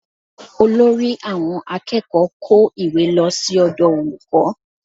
Olórí àwọn akẹ́kọ̀ọ́ kó ìwé lọ sí ọ̀dọ̀ olùkọ́